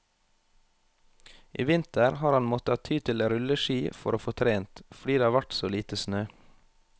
I vinter har han måttet ty til rulleski for å få trent, fordi det har vært så lite snø.